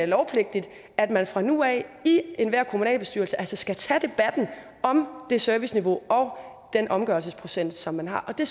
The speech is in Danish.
lovpligtigt at man fra nu af i en enhver kommunalbestyrelse skal tage debatten om det serviceniveau og den omgørelsesprocent som man har det